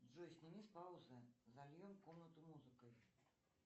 джой сними с паузы зальем комнату музыкой